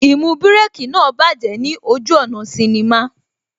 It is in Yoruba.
Īmú Bírèkī náà bájẹ̀ ní ojú ọ̀nà sinnimá